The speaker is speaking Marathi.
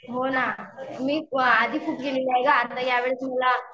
हो ना मी आधी खूप गेलेली आहे गं आता यावेळेस मला